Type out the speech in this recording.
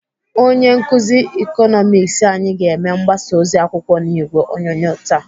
Onye nkụzi Ịkọnọmiks anyị ga-eme mgbasa ozi akwụkwọ n'ìgwè onyonyo taa.